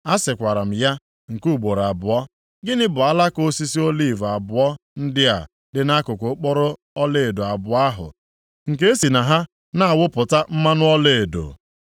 A sịkwara m ya nke ugboro abụọ, “Gịnị bụ alaka osisi oliv abụọ ndị a dị nʼakụkụ okporo ọlaedo abụọ ahụ, nke e si na ha na-awụpụta mmanụ ọlaedo?”